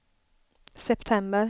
september